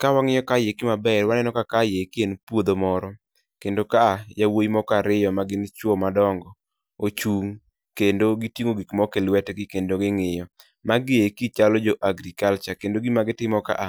Kawang'iyo kae eki maber, waneno ka kae eki en puodho moro. Kendo ka a yawuoyi moko ariyo ma gin chuo madongo ochung' kendo giting'o gik moko e lwetgi kendo ging'iyo. Magi eki chalo jo Agriculture, kendo gima gitimo ka a,